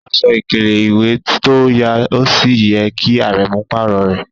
Aṣọ̀ ikèlè-iwé tó yà òṣì yẹ̀ kí Árẹ̀mú párọ̀ rẹ.